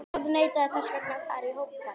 Þetta umboð þarf hvorki að skrá né auglýsa.